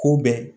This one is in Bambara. K'u bɛn